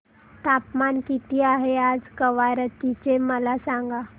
तापमान किती आहे आज कवारत्ती चे मला सांगा